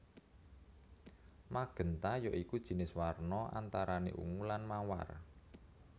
Magénta ya iku jinis warna antarane ungu lan mawar